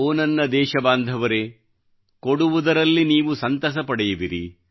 ಓ ನನ್ನ ದೇಶಬಾಂಧವರೇಕೊಡುವುದರಲ್ಲಿ ನೀವು ಸಂತಸ ಪಡೆಯುವಿರಿ